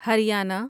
Haryana